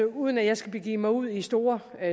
uden at jeg skal begive mig ud i store